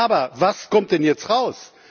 Aber was kommt denn jetzt heraus?